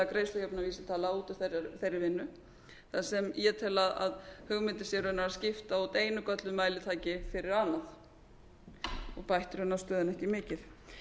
greiðslujöfnunarvísitala út úr þeirri vinnu þar sem ég tel að hugmyndin sé raunar að skipta út einu gölluðu mælitæki fyrir annað og bætt raunar stöðuna ekki mikið